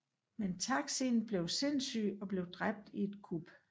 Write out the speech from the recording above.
Men Taksin blev sindssyg og blev dræbt i et kup